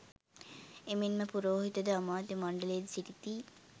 එමෙන්ම පුරෝහිත ද, අමාත්‍ය මණ්ඩලයද සිටිති.